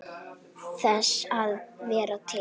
Þess að vera til.